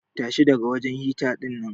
Tashi daga wajen hita dinnan.